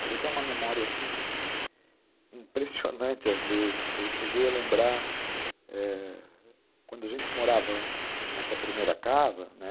Mas eu tenho uma memória, assim, impressionante, às vezes, que eu cheguei a lembrar, quando a gente morava nessa primeira casa, né?